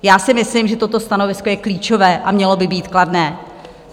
Já si myslím, že toto stanovisko je klíčové, a mělo by být kladné.